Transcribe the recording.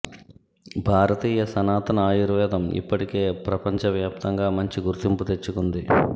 భారతీయ సనాతన ఆయుర్వేదం ఇప్పటికే ప్రపంచ వ్యాప్తంగా మంచి గుర్తింపు తెచ్చుకుంది